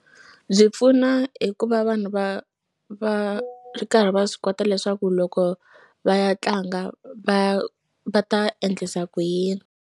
Byi pfuna hi ku va vanhu va va ri karhi va swi kota leswaku loko va ya tlanga va va ta endlisa ku yini.